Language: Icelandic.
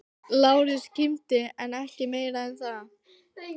Lárus kímdi en ekki mikið meira en það.